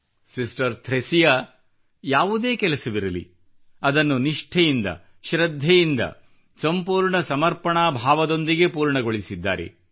sister Thresia ಯಾವುದೇ ಕೆಲಸವಿರಲಿ ಅದನ್ನು ನಿಷ್ಠೆಯಿಂದ ಶೃದ್ಧೆಯಿಂದ ಸಂಪೂರ್ಣ ಸಮರ್ಪಣಾ ಭಾವದೊಂದಿಗೆ ಪೂರ್ಣಗೊಳಿಸಿದ್ದಾರೆ